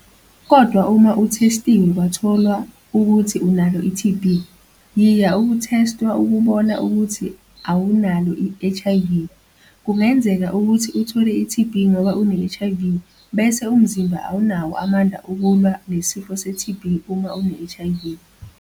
Kodwa uma uthesthiwe kwatholwa ukuthi unalo i-TB, yiya ukuthesthwa ukubona ukuthi awunalo i-HIV - kungenzeka ukuthi uthole i-TB ngoba une-HIV bese umzimba awunawo amandla ukulwa nesifo se-TB uma une-HIV.